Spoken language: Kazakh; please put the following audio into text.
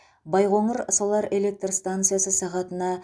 байқоңыр солар электр станциясы сағатына